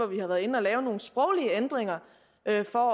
vi har været inde at lave nogle sproglige ændringer af for